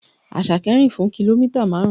Àṣàkẹ́ rìn fún kìlómítà marun.